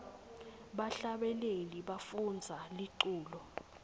bahlabeleli bafundza liculo